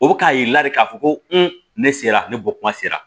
O bɛ k'a yir'i la de k'a fɔ ko ne sera ne bɔ kuma sera